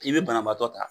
I bɛ banabaatɔ ta